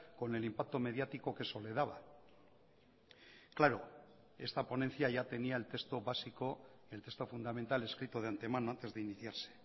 con el impacto mediático que eso le daba claro esta ponencia ya tenía el texto básico el texto fundamental escrito de antemano antes de iniciarse